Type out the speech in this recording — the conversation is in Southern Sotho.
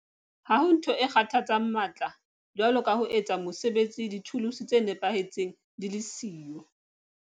Ha ho ntho e kgathatsang matla jwalo ka ho etsa mosebetsi dithuluse tse nepahetseng di le siyo.